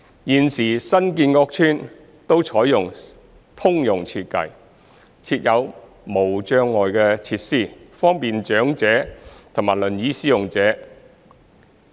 現時新建屋邨均採用通用設計，設有無障礙設施，方便長者及輪椅使用者。